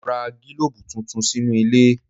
Mo ra gílòbù tuntun sínú ilé.